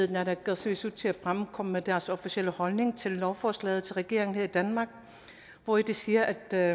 naalakkersuisut til at fremkomme med deres officielle holdning til lovforslaget over regeringen her i danmark og de siger at